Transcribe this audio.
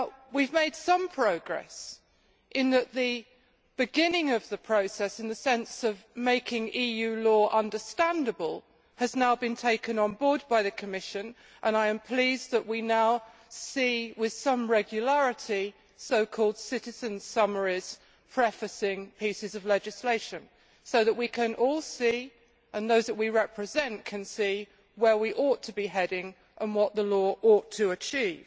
We have made some progress in that the beginning of the process, in the sense of making EU law understandable, has now been taken on board by the Commission, and I am pleased that we now see, with some regularity, so called citizens' summaries prefacing pieces of legislation, so that we can all see and those we represent can see where we ought to be heading and what the law ought to achieve.